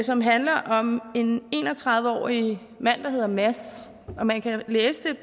som handler om en en og tredive årig mand der hedder mads og man kan læse